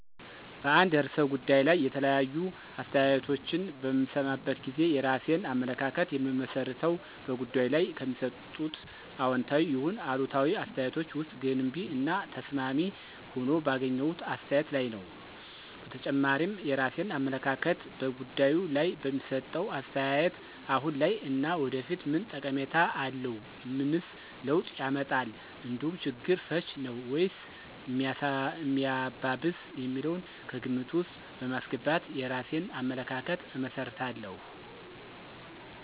በአንድ ርዕሰ ጉዳይ ላይ የተለያዩ አስተያየቶችን በምሰማበት ጊዜ የራሴን አመለካከት የምመሰርተው በጉዳዩ ላይ ከሚሰጡት አዎንታዊ ይሁን አሉታዊ አስተያየቶች ውስጥ ገንቢ እና ተስማሚ ሆኖ ባገኘሁት አስተያየት ላይ ነዉ። በተጨማሪም የራሴን አመለካከት በጉዳዩ ላይ በሚሰጠው አስተያየት አሁን ላይ እና ወደፊት ምን ጠቀሜታ አለው፣ ምንስ ለውጥ ያመጣል እንዲሁም ችግር ፈች ነዉ ወይስ ሚያባብስ የሚለውን ከግምት ውስጥ በማስገባት የራሴን አመለካከት እመሰርታለሁ።